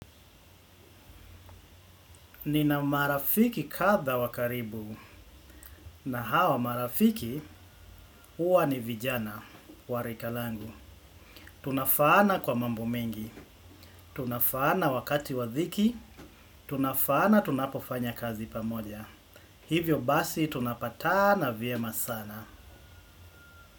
Nina marafiki kadhaa wa karibu, na hawa marafiki, huwa ni vijana wa rika langu. Tunafaana kwa mambo mengi, tunafaana wakati wa dhiki, tunafaana tunapofanya kazi pamoja. Hivyo basi tunapatana vyema sana.